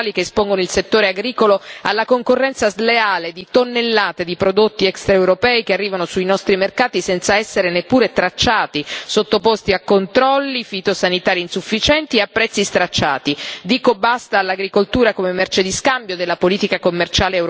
Sono contraria perché voglio dire basta basta ad accordi commerciali che espongono il settore agricolo alla concorrenza sleale di tonnellate di prodotti extraeuropei che arrivano sui nostri mercati senza essere neppure tracciati, sottoposti a controlli fitosanitari insufficienti e a prezzi stracciati.